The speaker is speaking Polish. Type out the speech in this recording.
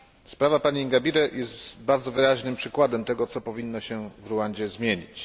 Sprawa pani Ingabire jest bardzo wyraźnym przykładem tego, co powinno się w Rwandzie zmienić.